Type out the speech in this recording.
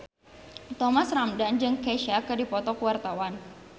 Thomas Ramdhan jeung Kesha keur dipoto ku wartawan